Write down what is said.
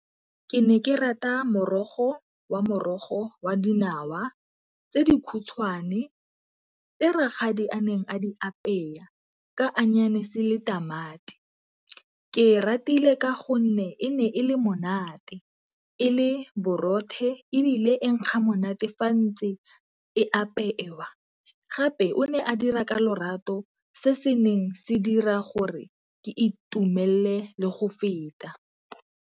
Ke ne ke rata morogo wa morogo wa dinawa tse di khutshwane, tse rakgadi a neng a di apeya ka le tamati. Ke ratile ka gonne e ne e le monate e le borothe ebile e nkga monate fa ntse e apewa, gape o ne a dira ka lorato se se neng se dira gore ke itumelele le go feta.